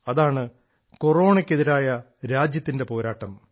അതാണ് കൊറോണയ്ക്കെതിരായ രാജ്യത്തിന്റെ പോരാട്ടം